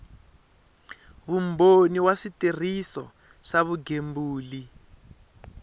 vumbhoni wa switirhiso swa vugembuli